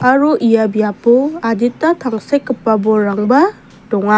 aro ia biap adita tangsekgipa bolrangba donga--